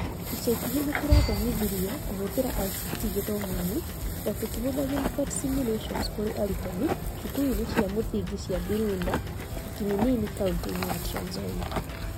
Ica ikuhĩ nĩtũrathomithirie kũhũthĩra ICT gĩthomo-inĩ o tũkĩhũthagĩta PhET simulations kũrĩ arutani cukuru-ini cia muthingi cia Birunda na Kiminini kauntĩ-ini ya Trans Nzoia